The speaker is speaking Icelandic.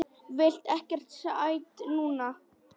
Vil ekkert sætt núna.